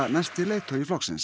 næsti leiðtogi flokksins